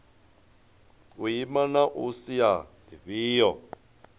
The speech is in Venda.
u ima na sia lifhio